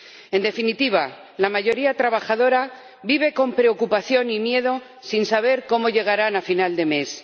En definitiva, la mayoría trabajadora vive con preocupación y miedo sin saber cómo llegarán a final de mes.